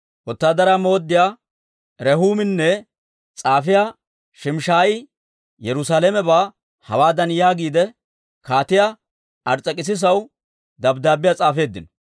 Wotaadaraa mooddiyaa Rehuuminne s'aafiyaa Shimshshaayi Yerusaalamebaa hawaadan yaagiide, Kaatiyaa Ars's'ekissisaw dabddaabbiyaa s'aafeeddino;